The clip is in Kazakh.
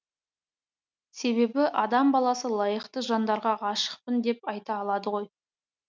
себебі адам баласы лайықты жандарға ғашықпын деп айта алады ғой